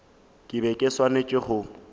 ke be ke swanetše go